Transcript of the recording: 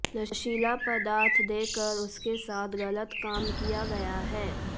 नशीला पदार्थ देकर उसके साथ गलत काम किया गया है